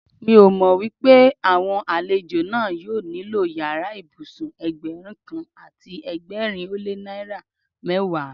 Mi ò mọ pé àwọn àlejò náà yóò nílò yàrá ìbùsùn Ẹgbẹ̀rún kan àti ẹgbẹ̀rin ó lé ní mẹ́wàá.